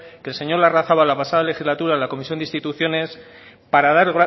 que el señor larrazabal la pasada legislatura en la comisión de instituciones para dar